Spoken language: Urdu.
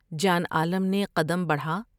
جان عالم نے قدم بڑھا